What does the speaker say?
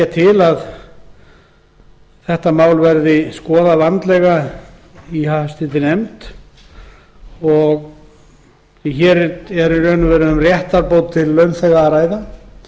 eindregið til að málið verði skoðað vandlega í háttvirtri nefnd hér er um réttarbót til launþega að ræða